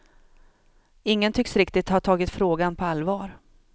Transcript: Ingen tycks riktigt ha tagit frågan på allvar.